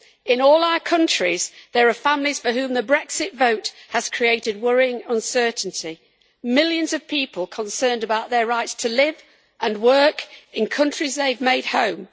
In all our countries, there are families for whom the Brexit vote has created worrying uncertainty millions of people concerned about their rights to live and work in countries they have made home.